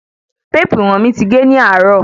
Téèpù íwọ̀n mi ti ge ní àárò.